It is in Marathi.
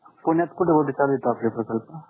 पुण्यात कोठे कोठे चालू आहेत आपले प्रकल्प?